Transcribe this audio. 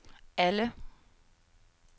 alle